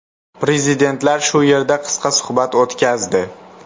Prezidentlar shu yerda qisqa suhbat o‘tkazdi.